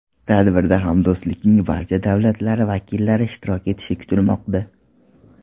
Tadbirda Hamdo‘stlikning barcha davlatlari vakillari ishtirok etishi kutilmoqda.